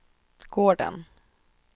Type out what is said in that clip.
gården